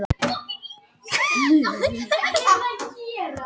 Hugsanlega er átt við landskika sem borið er á til að græða hann upp.